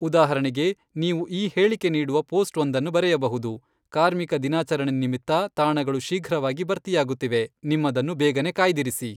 ಉದಾಹರಣೆಗೆ, ನೀವು ಈ ಹೇಳಿಕೆ ನೀಡುವ ಪೋಸ್ಟ್ ವೊಂದನ್ನು ಬರೆಯಬಹುದು " ಕಾರ್ಮಿಕ ದಿನಾಚರಣೆ ನಿಮಿತ್ತ ತಾಣಗಳು ಶೀಘ್ರವಾಗಿ ಭರ್ತಿಯಾಗುತ್ತಿವೆ !ನಿಮ್ಮದನ್ನು ಬೇಗನೇ ಕಾಯ್ದಿರಿಸಿ !"